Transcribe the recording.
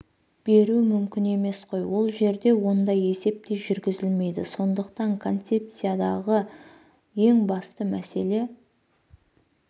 беру мүмкін емес қой ол жерде ондай есеп те жүргізілмейді сондықтан концепциядағы ең басты мәселе